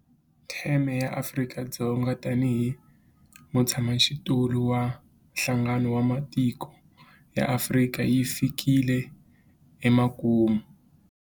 Theme ya Afrika-Dzonga tanihi mutshamaxitulu wa Nhlangano wa Matiko ya Afrika yi fikile emakumu.